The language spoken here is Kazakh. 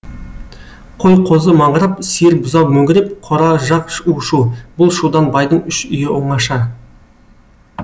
қой қозы маңырап сиыр бұзау мөңіреп қора жақ у шу бұл шудан байдың үш үйі оңаша